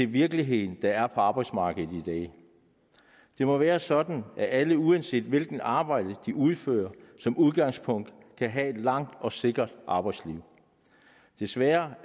virkelighed der er på arbejdsmarkedet i dag det må være sådan at alle uanset hvilket arbejde de udfører som udgangspunkt kan have et langt og sikkert arbejdsliv desværre